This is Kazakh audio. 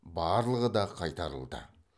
барлығы да қайтарылды